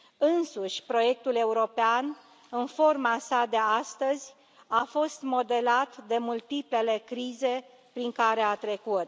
Însuși proiectul european, în forma sa de astăzi, a fost modelat de multiplele crize prin care a trecut.